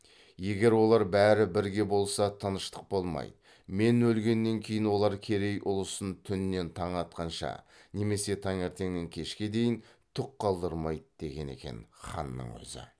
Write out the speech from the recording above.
егер олар бәрі бірге болса тыныштық болмайды мен өлгеннен кейін олар керей ұлысын түннен таң атқанша немесе таңертеңнен кешке дейін түк қалдырмайды деген екен ханның өзі